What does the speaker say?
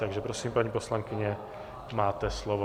Takže prosím, paní poslankyně, máte slovo.